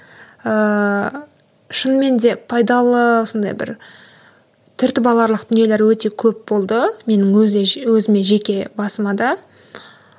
ыыы шынымен де пайдалы осындай бір түртіп аларлық дүниелер өте көп болды менің өзі өзіме жеке басыма да